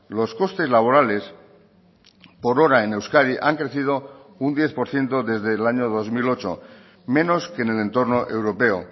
los costes laborales por hora en euskadi han crecido un diez por ciento desde el año dos mil ocho menos que en el entorno europeo